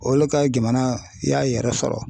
Olu ka jamana y'a yɛrɛ sɔrɔ.